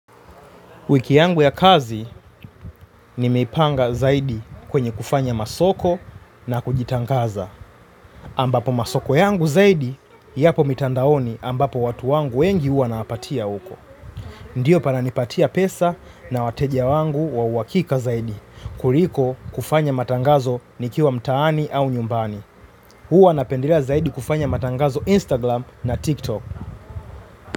Wiki yangu ya kazi nimeipanga zaidi kwenye kufanya masoko na kujitangaza. Ambapo masoko yangu zaidi, yapo mitandaoni ambapo watu wangu wengi huwa nawapatia huko. Ndiyo pana nipatia pesa na wateja wangu wa uhakika zaidi. Kuliko kufanya matangazo nikiwa mtaani au nyumbani huwa napendelea zaidi kufanya matangazo Instagram na TikTok.